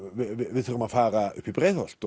við þurfum að fara upp í Breiðholt